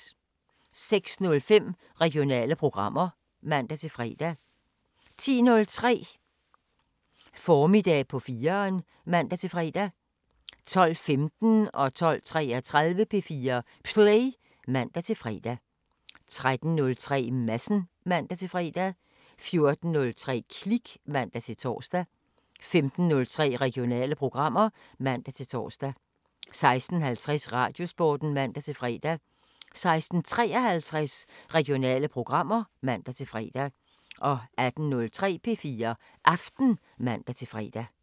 06:05: Regionale programmer (man-fre) 10:03: Formiddag på 4'eren (man-fre) 12:15: P4 Play (man-fre) 12:33: P4 Play (man-fre) 13:03: Madsen (man-fre) 14:03: Klik (man-tor) 15:03: Regionale programmer (man-tor) 16:50: Radiosporten (man-fre) 16:53: Regionale programmer (man-fre) 18:03: P4 Aften (man-fre)